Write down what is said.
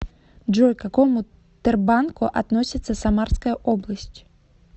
джой к какому тербанку относится самарская область